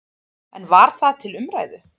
En var það til umræðu?